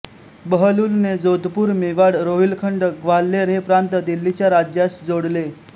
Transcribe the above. बहलूलने जोधपूर मेवाड रोहीलखंड ग्वाल्हेर हे प्रांत दिल्लीच्या राज्यास जोडले